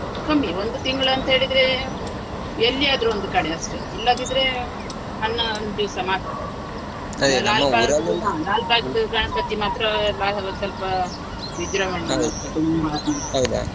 ಕಮ್ಮಿ, ಒಂದು ತಿಂಗಳು ಅಂತ ಹೇಳಿದ್ರೆ ಎಲ್ಲಿಯಾದ್ರೂ ಒಂದು ಕಡೆ ಅಷ್ಟೇ, ಇಲ್ಲದಿದ್ರೆ ಹನ್ನೊಂದು ದಿವ್ಸ ಮಾತ್ರ. ಲಾಲ್ಬಾಗ್ದು ಗಣಪತಿ ಮಾತ್ರ ಸ್ವಲ್ಪ ವಿಜ್ರಂಭಣೆ .